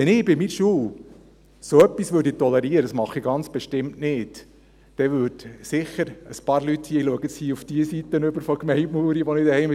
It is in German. Wenn ich an meiner Schule so etwas tolerieren würde – was ich ganz bestimmt nicht tue –, dann würden wohl sicher ein paar Leute auf mich zukommen und einiges unternehmen;